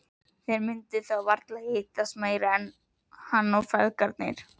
Þeir myndu þá varla hittast meira, hann og feðgarnir.